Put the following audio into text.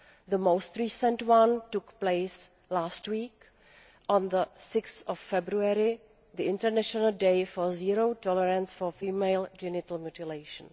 The most recent one took place last week on 6 February, the International Day of Zero Tolerance for Female Genital Mutilation.